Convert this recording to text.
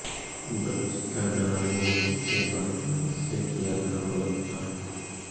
बच्ची का गला घोंटने के बाद लाश से किया था बलात्कार